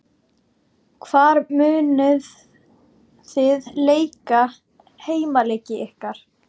Hvar munuð þið leika heimaleiki ykkar?